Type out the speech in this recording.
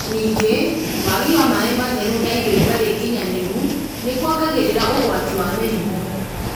ningĩ, wagi wa maĩ matheru na irio itarĩ nginyanĩru nĩ kuongagĩrĩra ũgwati wa mĩrimũ